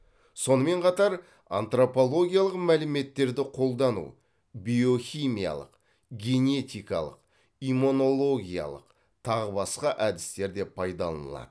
сонымен қатар антропологиялық мәліметтерді қолдану биохимиялық генетикалық иммунологиялық тағы басқа әдістер де пайдаланылады